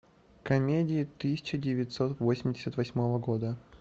комедии тысяча девятьсот восемьдесят восьмого года